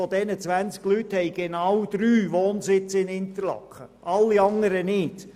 Von diesen haben genau drei Wohnsitz in Interlaken, alle anderen nicht.